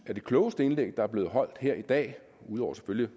at det klogeste indlæg der blev holdt her i dag ud over selvfølgelig